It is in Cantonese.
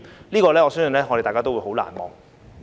對此，我相信大家都很難忘。